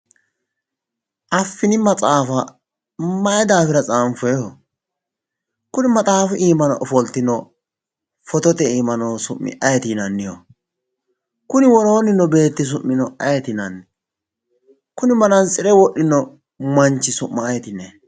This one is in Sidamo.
Affini maxaafa mayi daafira tsaanfoyiiho kuni maxxafu iimano ofoltino fotote iima noo su'mi ayiiti yinanniho kuni woroonni noo beeti su'mino ayeeti yinanni kuni manaantsire wodhino manchi su'ma ayeeti yinayi